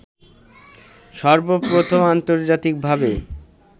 সর্বপ্রথম আন্তর্জাতিক ভাবে